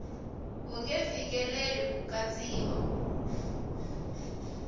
wu nge fikeleli ku katsiwa